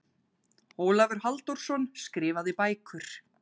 Ólafur Halldórsson, Skrifaðar bækur